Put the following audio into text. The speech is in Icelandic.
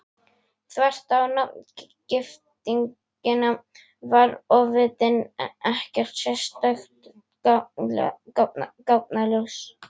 Þvert á nafngiftina var ofvitinn ekkert sérstakt gáfnaljós.